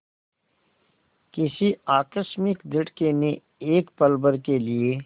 किसी आकस्मिक झटके ने एक पलभर के लिए